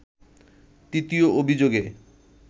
তৃতীয় অভিযোগে